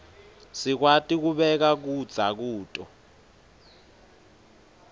sikwati kubeka kudza kuto